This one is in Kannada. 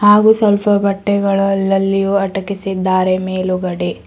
ಹಾಗು ಸ್ವಲ್ಪ ಬಟ್ಟೆಗಳು ಅಲ್ಲಲ್ಲಿ ಅಟಕಿಸಿದ್ದಾರೆ ಮೇಲುಗಡೆ.